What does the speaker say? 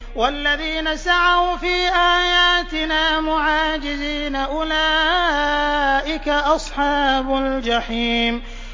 وَالَّذِينَ سَعَوْا فِي آيَاتِنَا مُعَاجِزِينَ أُولَٰئِكَ أَصْحَابُ الْجَحِيمِ